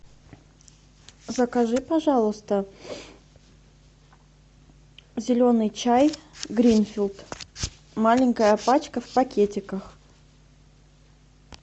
закажи пожалуйста зеленый чай гринфилд маленькая пачка в пакетиках